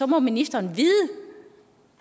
må ministeren vide